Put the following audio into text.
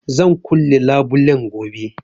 Zan kulle labulen gobe